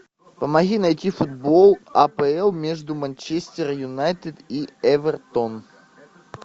помоги найти футбол апл между манчестер юнайтед и эвертон